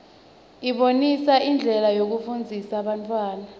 ibonisa indlela yekufundzisa bantfwana